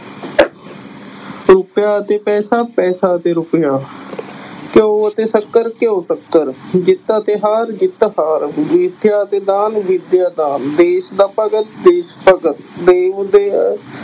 ਰੁਪਇਆ ਅਤੇ ਪੈਸਾ, ਪੈਸਾ ਅਤੇ ਰੁਪਇਆ ਘਿਓ ਅਤੇ ਸ਼ੱਕਰ ਘਿਓ ਸ਼ੱਕਰ, ਜਿੱਤ ਅਤੇ ਹਾਰ ਜਿੱਤ ਹਾਰ, ਵਿੱਦਿਆ ਅਤੇ ਦਾਨ, ਵਿੱਦਿਆ ਦਾਨ, ਦੇਸ ਦਾ ਭਗਤ ਦੇਸ ਭਗਤ